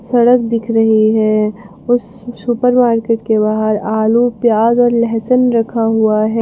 सड़क दिख रही है उस सुपर मार्केट के बाहर आलू प्याज और लहसुन रखा हुआ है।